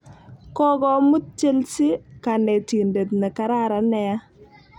Kokomut chelsea kanetindet ne kararan nea